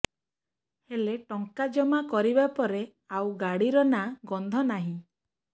ହେଲେ ଟଙ୍କା ଜମା କରିବା ପରେ ଆଉ ଗାଡ଼ିର ନାଁ ଗନ୍ଧ ନାହିଁ